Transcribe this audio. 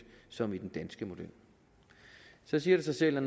som i den danske model så siger det sig selv at